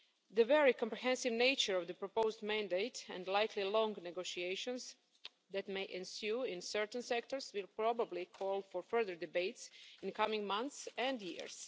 The very comprehensive nature of the proposed mandate and likely long negotiations that may ensue in certain sectors will probably call for further debates in the coming months and years.